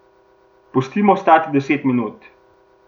Pustimo stati deset minut.